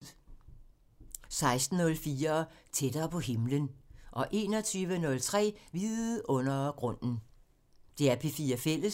DR P4 Fælles